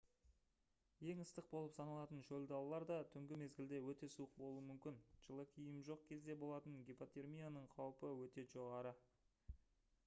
ең ыстық болып саналатын шөл далалар да түнгі мезгілде өте суық болуы мүмкін жылы киім жоқ кезде болатын гипотермияның қаупі өте жоғары